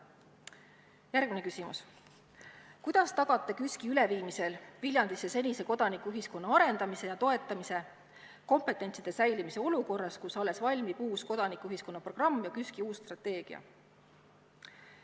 Järgmine küsimus: "Kuidas tagate KÜSK-i üleviimisel Viljandisse senise kodanikuühiskonna arendamise ja toetamise kompetentside säilimise olukorras, kus alles valmib uus kodanikuühiskonna programm ja KÜSK-i uus strateegia?